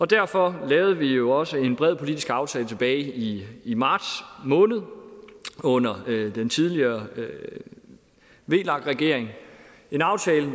derfor lavede vi jo også en bred politisk aftale tilbage i i marts måned under den tidligere regering vlak regeringen en aftale